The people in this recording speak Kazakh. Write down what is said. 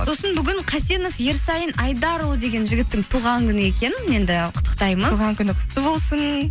сосын бүгін қасенов ерсайын айдарұлы деген жігіттің туған күні екен енді құттықтаймыз туған күні құтты болсын